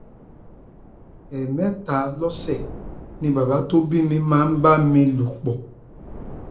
ẹẹmẹta lọsẹ ni bàbá tó bí mi máa ń bá mi lò pọ